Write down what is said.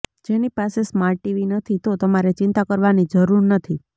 જેની પાસે smart TV નથી તો તમારે ચિંતા કરવાની જરુર નથી